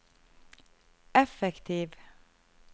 effektiv